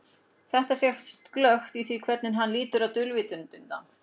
Þetta sést glöggt í því hvernig hann lítur á dulvitundina.